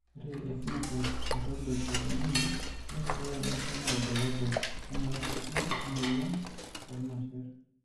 Ore ephenotype ontology etung'ani neishooyo enasiana oorbulabul onaapuku emuoyian oormasher.